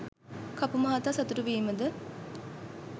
කපු මහතා සතුටු වීමද